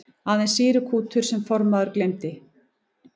Aðeins sýrukútur sem formaðurinn geymdi.